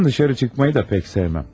Evdən dışarı çıxmayı da pək sevməm.